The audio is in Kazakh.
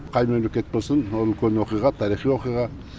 қай мемлекет болсын ол үлкен оқиға тарихи оқиға